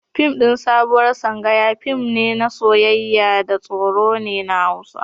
Fim ɗin Sabuwar Sangaya fim ɗin soyayya da tsoro ne na Hausa.